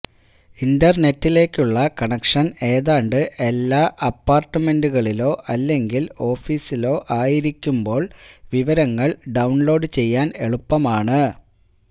ഇന്റർനെറ്റിലേക്കുള്ള connection ഏതാണ്ട് എല്ലാ അപ്പാർട്ട്മെൻറുകളിലോ അല്ലെങ്കിൽ ഓഫീസിലോ ആയിരിക്കുമ്പോൾ വിവരങ്ങൾ ഡൌൺലോഡ് ചെയ്യാൻ എളുപ്പമാണ്